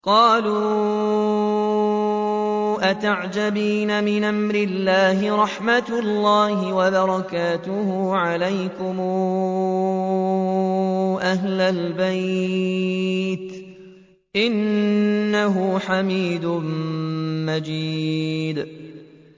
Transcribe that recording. قَالُوا أَتَعْجَبِينَ مِنْ أَمْرِ اللَّهِ ۖ رَحْمَتُ اللَّهِ وَبَرَكَاتُهُ عَلَيْكُمْ أَهْلَ الْبَيْتِ ۚ إِنَّهُ حَمِيدٌ مَّجِيدٌ